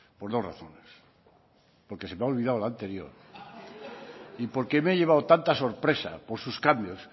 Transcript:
por dos razones porque se me ha olvidado la anterior y porque me he llevado tanta sorpresa por sus cambios